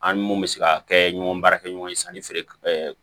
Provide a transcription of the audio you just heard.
An ni mun bɛ se ka kɛ ɲɔgɔn baarakɛɲɔgɔn ye sanni feere